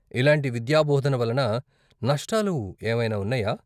ఇలాంటి విద్యాబోధన వలన నష్టాలు ఏవైనా ఉన్నాయా?